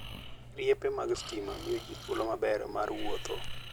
Riepe mag stima miyo ji thuolo maber mar wuotho.